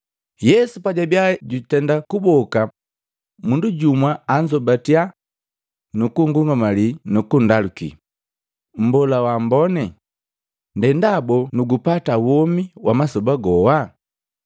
Yesu pajabia jutenda kuboka mundu jumwa anzombatakya nukun'gungamalii nukundaluki, “Mbola waamboni, ndendaboo nugupata womi wa masoba goa?”